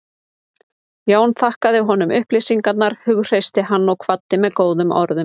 Jón þakkaði honum upplýsingarnar, hughreysti hann og kvaddi með góðum orðum.